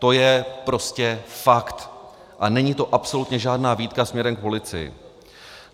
To je prostě fakt a není to absolutně žádná výtka směrem k policii.